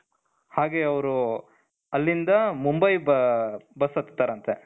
ಹಾಗೆ ಅವರು ಅಲ್ಲಿಂದ ಮುಂಬೈ ಬಸ್ ಹತ್ತುತ್ತಾರಂತೆ,